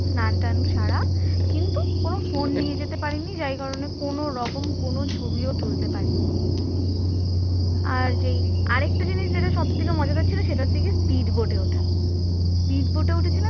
স্নান টান সারা কিন্তু কোন phone নিয়ে যেতে পারিনি যার কারণে রকম কোনো ছবি তুলতে পারিনি, আর যেই আরেকটা জিনিস যেটা সবচাইতে মজাদার ছিল সেটা হচ্ছে speed boat ওটা। speed boat উঠেছিলাম